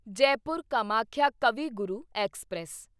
Jaipur Kamakhya Kavi Guru express